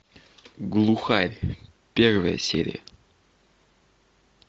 глухарь первая серия